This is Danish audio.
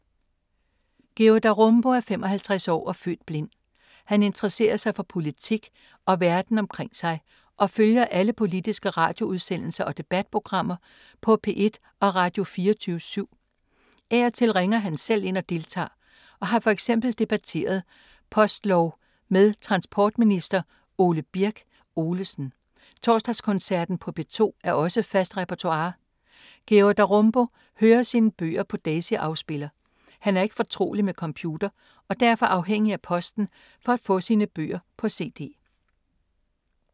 Georg Darumbo er 55 år og født blind. Han interesserer sig for politik og verden omkring sig og følger alle politiske radioudsendelser og debatprogrammer på P1 og Radio 24syv. Af og til ringer han selv ind og deltager og har for eksempel debatteret postlov med transportminister Ole Birk Olesen. Torsdagskoncerten på P2 er også fast repertoire. Georg Darumbo hører sine bøger på Daisy-afspiller. Han er ikke fortrolig med computer og derfor afhængig af posten for at få sine bøger på cd.